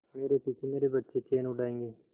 मेरे पीछे मेरे बच्चे चैन उड़ायेंगे